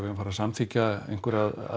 að fara að samþykkja einhverjar